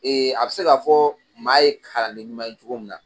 a bɛ se k'a fɔ maa ye kalanden ɲuman ye cogo mun na